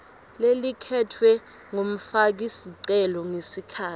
lelikhetfwe ngumfakisicelo ngesikhatsi